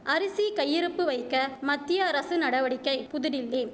அரிசி கையிருப்பு வைக்க மத்தியஅரசு நடவடிக்கை புதுடில்லி